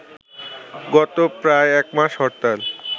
গত প্রায় এক মাস হরতাল